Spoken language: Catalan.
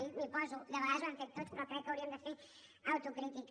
i m’hi poso de vegades ho hem fet tots però crec que hauríem de fer autocrítica